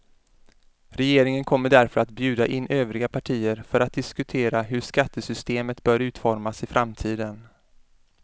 Regeringen kommer därför att bjuda in övriga partier för att diskutera hur skattesystemet bör utformas i framtiden.